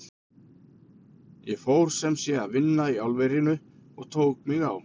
Ég fór sem sé að vinna í álverinu og tók mig á.